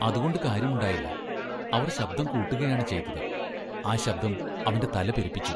അതുകൊണ്ട് കാര്യമുണ്ടായില്ല. അവർ ശബ്‌ദം കൂട്ടുകയാണ് ചെയ്‌തത്‌. ആ ശബ്ദം അവൻ്റെ തല പെരുപ്പിച്ചു.